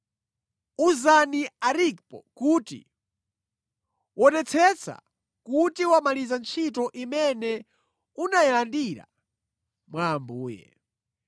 Uzani Arkipo kuti, “Wonetsetsa kuti wamaliza ntchito imene unayilandira mwa Ambuye.”